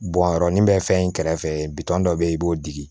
Bɔn yɔrɔ ni bɛ fɛn in kɛrɛfɛ bitɔn dɔ bɛ yen i b'o digi